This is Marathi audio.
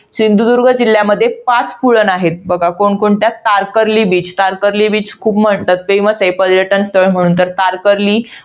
सिंधुदुर्ग जिल्ह्यामध्ये पाच पुळण आहेत. बघा कोणकोणत्या आहेत. तारकर्ली beach तारकर्ली beach खूप famous आहे. पर्यटन स्थळ म्हणून. तर तारकर्ली.